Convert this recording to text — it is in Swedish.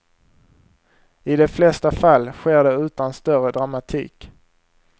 I de flesta fall sker det utan större dramatik.